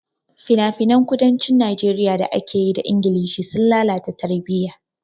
Finafinan kudancin Najeriya da aka yi da Ingilishi sun lalata tarbiyya.